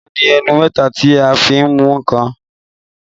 Amúga ní ẹnu mẹ́ta tí a fi n mú nǹkan